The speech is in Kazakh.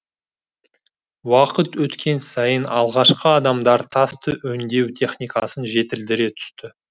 уақыт өткен сайын алғашқы адамдар тасты өңдеу техникасын жетілдіре түсті